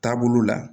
Taabolo la